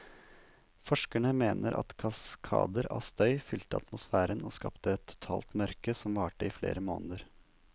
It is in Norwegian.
Forskerne mener at kaskader av støv fylte atmosfæren og skapte et totalt mørke som varte i flere måneder.